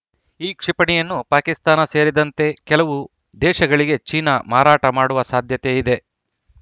ಈ ಕ್ಷಿಪಣಿಯನ್ನು ಪಾಕಿಸ್ತಾನ ಸೇರಿದಂತೆ ಕೆಲವು ದೇಶಗಳಿಗೆ ಚೀನಾ ಮಾರಾಟ ಮಾಡುವ ಸಾಧ್ಯತೆ ಇದೆ